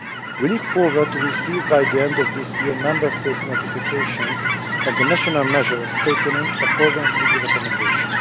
pay gap. We look forward to receiving, by the end of this year, Member States' notifications on the national measures taken in accordance with the recommendation.